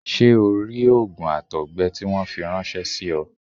Ṣé o rí òògùn àtọ̀gbẹ tí wọ́n fi ráńṣẹ́ sí ọ?